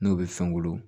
N'o bɛ fɛn wolo